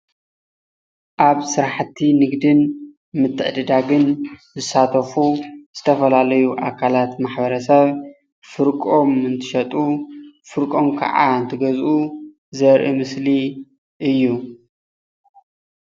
ኣብ ስራሕቲ ንግድን ምትዕድዳግን ዝሳተፉ ዝተፈላለዩ ኣካላት ማሕበረሰብ ፍርቆም እንትሸጡ ፍርቆም ከዓ እንትገዝኡ ዘርእ ምስሊ እዩ፡፡